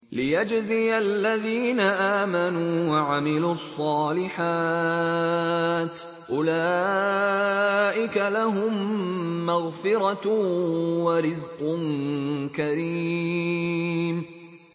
لِّيَجْزِيَ الَّذِينَ آمَنُوا وَعَمِلُوا الصَّالِحَاتِ ۚ أُولَٰئِكَ لَهُم مَّغْفِرَةٌ وَرِزْقٌ كَرِيمٌ